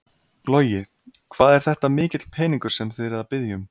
Logi: Hvað er þetta mikill peningur sem þið eruð að biðja um?